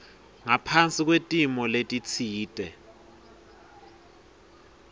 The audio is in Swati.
ngaphasi kwetimo letitsite